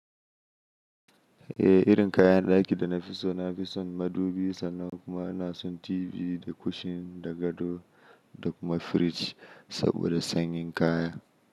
Eh, irin kayan ɗaki da na fi so na fi son madubi sannan kuma ina son TV da kushin da gado da kuma firiji saboda sanyin kaya.